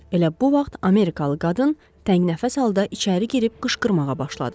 Elə bu vaxt amerikalı qadın təngnəfəs halda içəri girib qışqırmağa başladı.